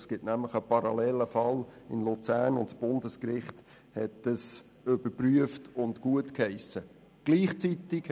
Es gibt nämlich einen parallelen Fall in Luzern, den das Bundesgericht überprüft und gutgeheissen hat.